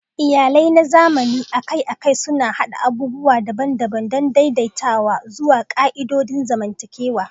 Iyalai na zamani akai-akai suna haɗa abubuwa daban-daban don daidaitawa zuwa ƙa'idodin zamantakewa.